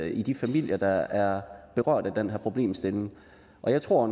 i de familier der er berørt af den her problemstilling og jeg tror